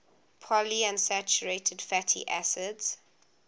polyunsaturated fatty acids